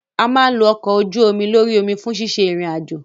A máa ń lo ọkọ̀ ojú-omi lórí omi fún ṣíṣe ìrìn àjò.